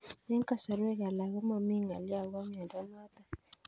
Eng'kasarwek alak ko mami ng'alyo akopo miondo notok